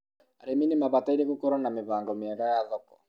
arĩmi ni mabataire gũkoruo na mibago miega ya thoko